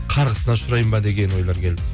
қарғысына ұшыраймын ба деген ойлар келді